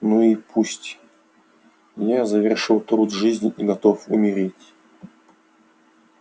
ну и пусть я завершил труд жизни и готов умереть